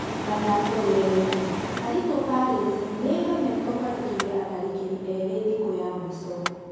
(Mathako Rĩerainĩ) Karito Palace nĩĩremetwo kũandĩkithia atharĩkĩri erĩ thikũ ya mũico.